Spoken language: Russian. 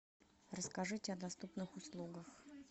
расскажите о доступных услугах